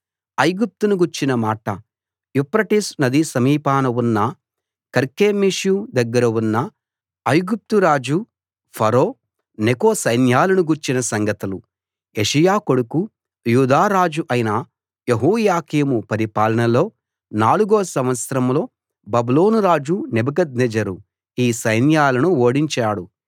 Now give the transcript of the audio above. ఐగుప్తును గూర్చిన మాట యూఫ్రటీసు నది సమీపాన ఉన్న కర్కెమీషు దగ్గర ఉన్న ఐగుప్తు రాజు ఫరో నెకో సైన్యాలను గూర్చిన సంగతులు యోషీయా కొడుకూ యూదా రాజు అయిన యెహోయాకీము పరిపాలనలో నాలుగో సంవత్సరంలో బబులోను రాజు నెబుకద్నెజరు ఈ సైన్యాలను ఓడించాడు